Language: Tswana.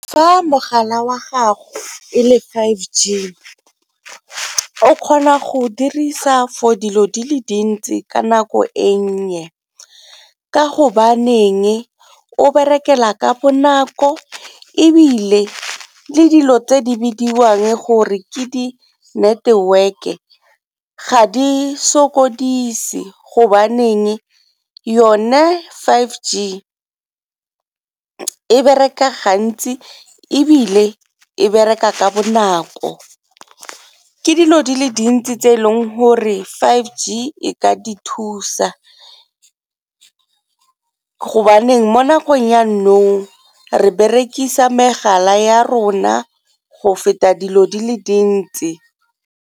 Fa mogala wa gago e le five G, o kgona go dirisa for dilo di le dintsi ka nako e nnye ka gobaneng o berekela ka bonako ebile le dilo tse di bidiwang gore ke dineteweke ga di sokodise gobaneng yone five G e bereka gantsi ebile e bereka ka bonako ke dilo di le dintsi tse e leng gore five G e ka di thusa gobaneng mo nakong ya nou re berekisa megala ya rona go feta dilo di le dintsi.